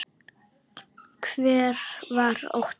Hver var Óttar?